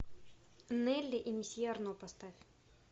нелли и месье арно поставь